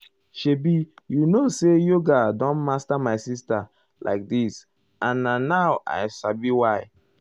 shebi you know say yoga don master my sister like this and na now um i sabi why. why.